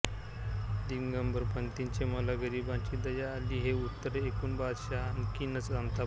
दिगंबरपंतांचे मला गरिबांची दया आली हे उत्तर ऐकून बादशहा आणखीनच संतापला